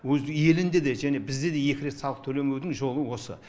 өз елінде де және бізде де екі рет салық төлемеудің жолы осы